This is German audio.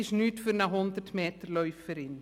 Nichts für eine 100-Meter-Läuferin.